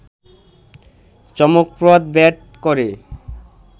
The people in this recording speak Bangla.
চমকপ্রদ ব্যাট করে